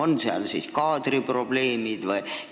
No näiteks kui on kaadriprobleemid vms.